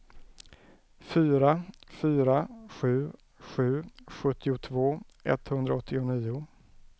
fyra fyra sju sju sjuttiotvå etthundraåttionio